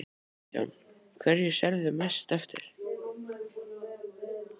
Kristján: Hverju sérðu mest eftir?